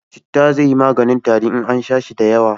Citta zai yi maganin tari in an sha shi da yawa